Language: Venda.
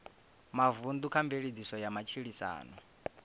mavunḓu kha mveledziso ya matshilisano